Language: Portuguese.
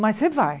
Mas você vai.